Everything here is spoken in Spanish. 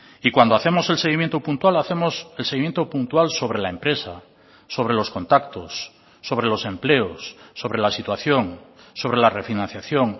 y cuando hacemos el seguimiento puntual hacemos el seguimiento puntual sobre la empresa sobre los contactos sobre los empleos sobre la situación sobre la refinanciación